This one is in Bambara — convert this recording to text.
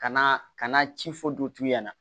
Kana ka na ci fɔ du ɲɛna